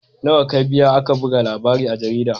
Nawa ka biya aka buga labarin a jarida?